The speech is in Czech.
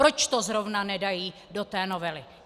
Proč to zrovna nedají do té novely?